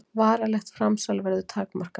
Varanlegt framsal verður takmarkað